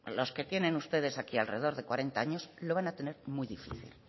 los que tienen ustedes aquí alrededor de cuarenta años lo van a tener muy difícil